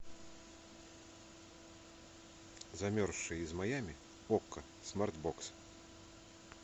замерзшая из майами окко смарт бокс